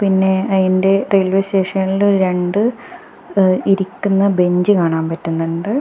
പിന്നെ അയിൻ്റെ റെയിൽവേ സ്റ്റേഷനില് രണ്ട് ങ്ങ്‌ ഇരിക്കുന്ന ബെഞ്ച് കാണാൻ പറ്റുന്നോണ്ട്.